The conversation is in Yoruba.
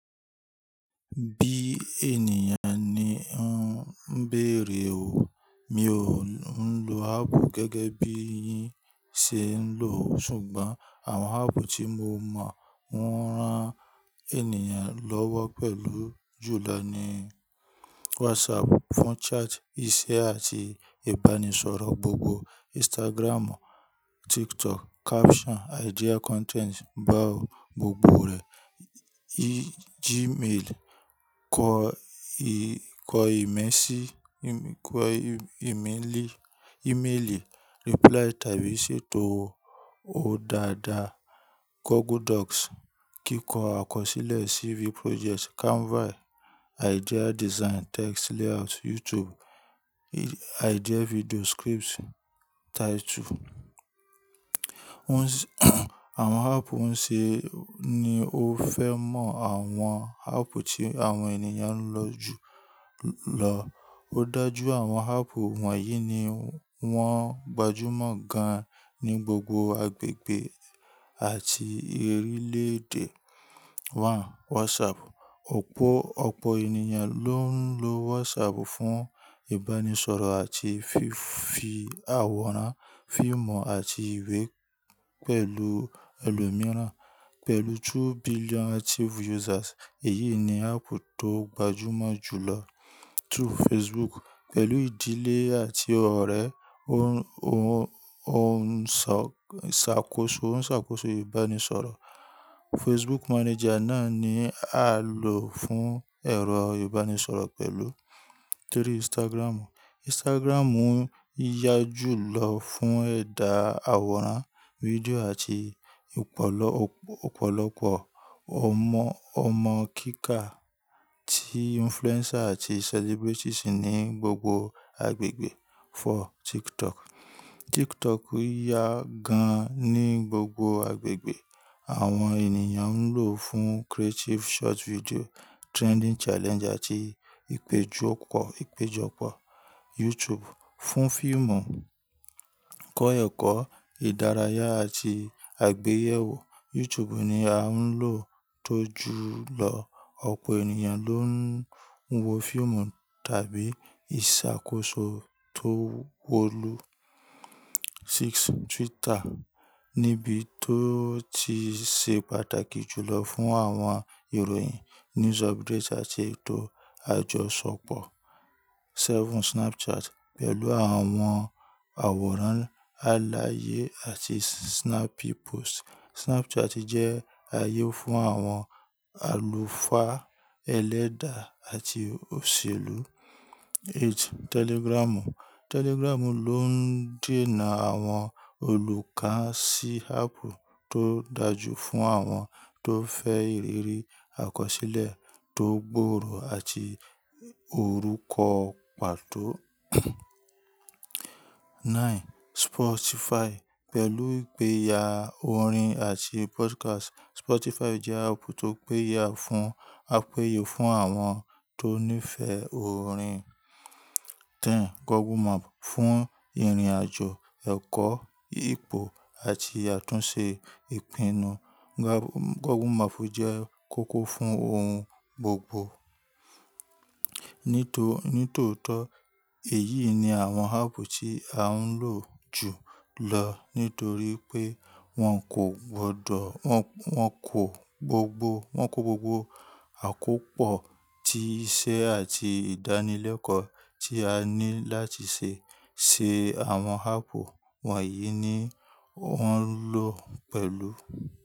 Bí ènìyàn ni ó ń béèrè o, mi ò ń lo áàpù gẹ́gẹ́ bí yín ṣe ń lò o, ṣùgbọ́n àwọn áàpù tí mo mọ wọ́n rán ènìyàn lọ́wọ́ pẹ̀lú jù lọ ni WhatsApp fún chat iṣẹ́ àti ìbánisọ̀rọ̀ gbogbo, Instagram, TikTok caption, idea content, báwo gbogbo rẹ̀, Gmail kọ ìkọ ìméè sí kọ ì ìméèlì ìméèlì reply tàbí ṣètò ó dáadáa, Google Docs kíkọ àkọsílẹ̀ CV project, Canva idea design, text layout, YouTube idea video script title. Àwọn áàpù ń ṣe ni o fẹ́ mọ àwọn áàpù tí àwọn ènìyàn ń lò jù lọ. Ó dájú àwọn ápp wọ̀nyí ni wọ́n gbajúmọ̀ gan ní gbogbo agbègbè àti orílẹ̀ èdè. Han, WhatsApp. Ọ̀pọ̀ ọ̀pọ̀ ènìyàn ló ń lo WhatsApp fún ìbánisọ̀rọ̀ àti fi àwòrán, fíìmù àti ìwé pẹ̀lú ẹlòmíràn. Pẹ̀lú two billion active users, èyí ni áàpù tó gbajúmọ̀ jù lọ. Through Facebook. Pẹ̀lú ìdílé àti ọ̀rẹ́ ó ń ó ń ṣàkóso ń ṣàkóso ìbánisọ̀rọ̀. Facebook Manager náà ni a lò fún ẹ̀rọ ìbánisọ̀rọ̀ pẹ̀lú. Three, Instagram. Instagram yá jù lọ fún ẹ̀dà àwòrán, fídíò àti ọ̀pọ̀lọpọ̀ ọmọ ọmọ kíkà tí influencer àti celebrities ní gbogbo agbègbè. Four, TikTok. TikTok yá gan ní gbogbo agbègbè. Àwọn ènìyàn ń lò ó fún creative short video, trending challenge àti ìpéjọpọ̀ ìpéjọpọ̀. YouTube. Fún fíìmù, kọ́ ẹ̀kọ́, ìdárayá àti àgbéyẹ̀wò. YouTube ni a ń lò tó jù lọ. Ọ̀pọ̀ ènìyàn ló ń wo fíìmù tàbí ìṣàkóso tó wolu. Six, Twitter. Níbi tó ti ṣe pàtàkì jù lọ fún àwọn ìròyìn, news update àti ètò àjọṣepọ̀. Seven, Snapchat. Pẹ̀lú àwọn àwòrán àlàyé àti snappy post, Snapchat jẹ́ ààyè fún àwọn àlùfáà, ẹlẹ́dà àti òṣèlú. Eight, Telegram. Telegram ló ń dènà àwọn olùkọ́ sí ápp tó dájú fún àwọn tó fẹ́ ìrírí àkọsílẹ̀ tó gbòòrò àti orúkọ pàtó. Nine, Spotify. Pẹ̀lú ìgbéyàwó orin àti podcast, Spotify jẹ́ ápp tó péye fún àpèyè fún àwọn tó nífẹ̀ orin. Ten, Google Map. Fún ìrìnàjò, ẹ̀kọ́, ìpò àti àtúnṣe ìpinnu, Google Map jẹ́ kókó fún ohun gbogbo. Nítòótọ́ èyí ni àwọn ápp tí a ń lò jù lọ nítorí pé wọ́n kò gbọdọ̀ wọ́n kò gbogbo wọ́n kò gbogbo àkópọ̀ tí iṣẹ́ àti ìdánilẹ́kọ́ tí a ní láti ṣe ṣe. Àwọn ápp wọ̀nyí ni ó ń lò pẹ̀lú.